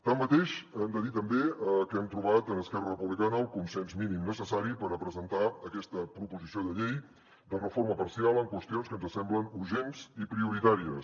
tanmateix hem de dir també que hem trobat en esquerra republicana el consens mínim necessari per presentar aquesta proposició de llei de reforma parcial en qüestions que ens semblen urgents i prioritàries